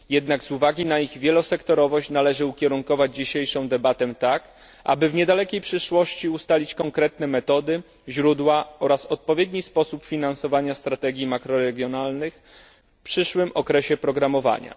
Jednak z uwagi na ich wielosektorowość należy ukierunkować dzisiejszą debatę tak, aby w niedalekiej przyszłości ustalić konkretne metody, źródła oraz odpowiedni sposób finansowania strategii makroregionalnych w przyszłym okresie programowania.